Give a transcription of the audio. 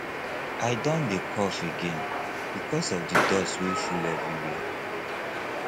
i don dey cough again because of di dust wey full everywhere